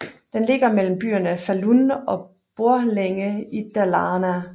Den ligger mellem byerne Falun og Borlänge i Dalarna